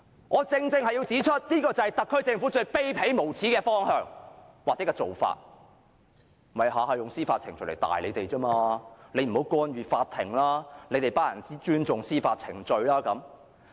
我正正要指出，這便是特區政府最卑鄙、無耻的方向或做法，便是每每用司法程序來嚇唬大家，不要干預法庭、要尊重司法程序等。